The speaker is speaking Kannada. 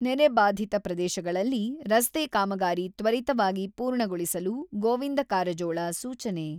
ನೆರೆ ಬಾಧಿತ ಪ್ರದೇಶಗಳಲ್ಲಿ ರಸ್ತೆ ಕಾಮಗಾರಿ ತ್ವರಿತವಾಗಿ ಪೂರ್ಣಗೊಳಿಸಲು ಗೋವಿಂದ ಕಾರಜೋಳ, ಸೂಚನೆ.